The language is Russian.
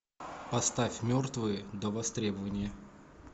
поставь мертвые до востребования